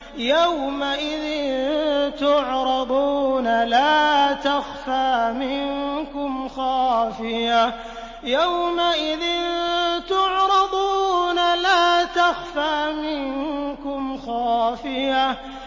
يَوْمَئِذٍ تُعْرَضُونَ لَا تَخْفَىٰ مِنكُمْ خَافِيَةٌ